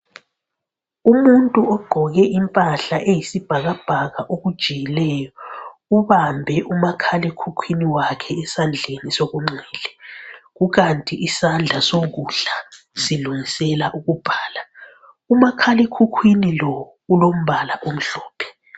Umuntu ogqoke impahla eyisibhakabhaka okujiyileyo ubambe umakhalekhukhwini wakhe esandleni senxele kukanti isandla sokudla silungisela ukubhala. Umakhalekhukhwini lo ulombala omhlophe.